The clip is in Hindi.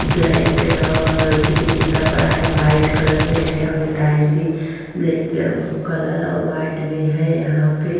ब्लैक और चिति चिता पड़ा है। व्हाइट कलर में है और यह टाइल्स भी ब्लैक कलर और व्हाइट भी है। यहाँ पे --